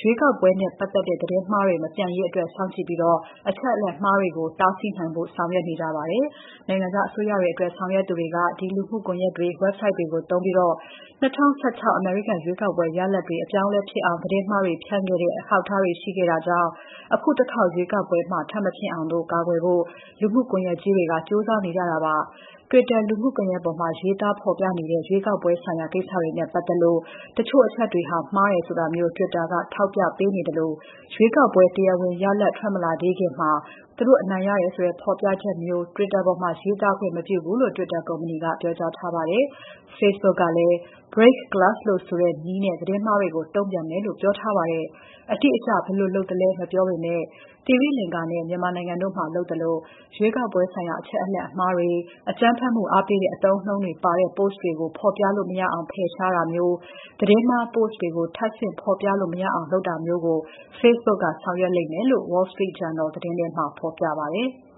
ရွေးကောက်ပွဲနဲ့ ပတ်သက်တဲ့ သတင်းမှားတွေ မပြန့်ရေးအတွက် စောင့်ကြည့်ပြီး အချက်အလက်အမှားတွေကို တားဆီးနိုင်ဖို့ ဆောင်ရွက်နေကြပါတယ်။ နိုင်ငံခြားအစိုးရတွေအတွက် ဆောင်ရွက်သူတွေက ဒီလူမှုကွန်ယက်တွေ၊ website တွေကိုသုံးပြီး ၂၀၁၆ အမေရိကန် ရွေးကောက်ပွဲ ရလဒ်တွေ အပြောင်းအလဲဖြစ်အောင် သတင်းမှားတွေဖြန့်ခဲ့တဲ့ အထောက်အထားတွေ ရှိထားတာကြောင့် အခုတခေါက်ရွေးကောက်ပွဲမှာ ထပ်မဖြစ်အောင် ကာကွယ်ဖို့ လူမှုကွန်ယက်ကုမ္ပဏီကြီးတွေ ကြိုးစားနေကြတာဖြစ်ပါတယ်။ Twitter လူမှုကွန်ယက်ပေါ်မှာ ရေးသားဖော်ပြကြတဲ့ ရွေးကောက်ပွဲဆိုင်ရာ ကိစ္စတွေနဲ့ပါတ်သက်လို့ တချို့အချက်တွေ မှားတယ်ဆိုတာမျိုး Twitter က လုပ်ပေးထားသလို ရွေးကောက်ပွဲ တရားဝင်ရလဒ် ထွက်မလာသေးခင် ကိုယ်စားလှယ်လောင်းတွေဘက်က သူတို့အနိုင်ရတယ်ဆိုတဲ့ ဖော်ပြချက်မျိုး Twitter ပေါ်မှာ ရေးသားခွင့်မပြုဘူးလို့ Twitter ကုမ္ပဏီက ပြောကြားထားပါတယ်။ Facebook ကလည်း break-glass လို့ဆိုတဲ့နည်းနဲ့ သတင်းမှားတွေကို တုံ့ပြန်မယ်လို့ ပြောထားပါတယ်။ အတိအကျဘယ်လိုလုပ်သလဲ မပြောပေမဲ့ သီရိလင်္ကာနဲ့ မြန်မာနိုင်ငံတို့မှာ လုပ်သလို ရွေးကောက်ပွဲဆိုင်ရာ အချက်အလက်အမှားတွေ၊ အကြမ်းဖက်မှုအားပေးတဲ့ အသုံးအနှုန်းတွေပါတဲ့ Post တွေကို ဖော်ပြလို့ မရအောင် ဖယ်ရှားတာ၊ သတင်းမှား Post တွေ ထပ်ဆင့်ဖော်ပြလို့ မရအောင်လုပ်တာမျိုး Facebook ကဆောင်ရွက်လိမ့်မယ်လို့ Wall Street Journal သတင်းမှာ ဖော်ပြပါတယ်။